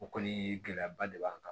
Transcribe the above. O kɔni gɛlɛyaba de b'an kan